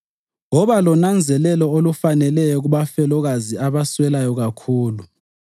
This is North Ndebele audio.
Woba lonanzelelo olufaneleyo kubafelokazi abaswelayo kakhulu.